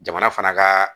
Jamana fana ka